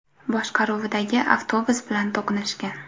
boshqaruvidagi avtobus bilan to‘qnashgan.